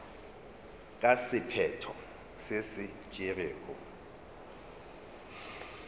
ka sephetho se se tšerwego